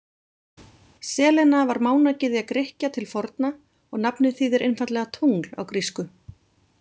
Selena var mánagyðja Grikkja til forna og nafnið þýðir einfaldlega tungl á grísku.